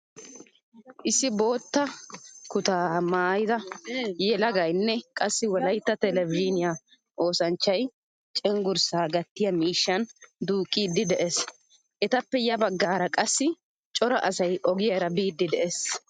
Issi bootta kutta maayida yelagaynne qassi wolaytta televzhiniyaa oosanchchay cenggurssaa gattiyaa miishshan duuqqidi de'ees. Etappe ya baggaara qassi cora asay ogiyaara biidi de'ees.